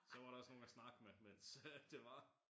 Så var der også nogen at snakke med mens øh det var